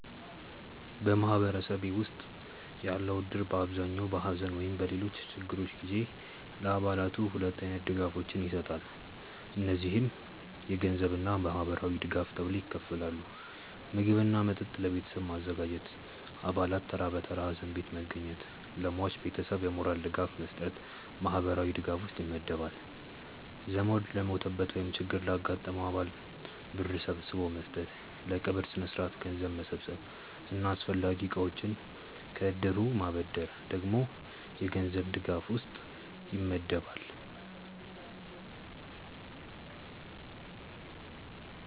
በማህበረሰቤ ውስጥ ያለው እድር በአብዛኛው በሐዘን ወይም በሌሎች ችግሮች ጊዜ ለአባላቱ ሁለት አይነት ድጋፎችን ይሰጣል። እነዚህም የገንዘብ እና ማህበራዊ ድጋፍ ተብለው ይከፈላሉ። ምግብ እና መጠጥ ለቤተሰቡ ማዘጋጀት፣ አባላት ተራ በተራ ሀዘን ቤት መገኘት፣ ለሟች ቤተሰብ የሞራል ድጋፍ መስጠት ማህበራዊ ድጋፍ ውስጥ ይመደባል። ዘመድ ለሞተበት ወይም ችግር ላጋጠመው አባል ብር ሰብስቦ መስጠት፣ ለቀብር ስነስርዓት ገንዘብ መሰብሰብ እና አስፈላጊ እቃዎችን ከእድሩ ማበደር ደግሞ የገንዘብ ድጋፍ ውስጥ ይመደባል።